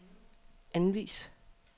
anvis